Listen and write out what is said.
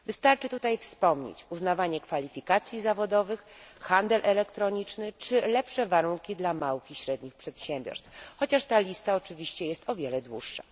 Wystarczy tutaj wspomnieć uznawanie kwalifikacji zawodowych, handel elektroniczny czy lepsze warunki dla małych i średnich przedsiębiorstw, chociaż ta lista oczywiście jest o wiele dłuższa.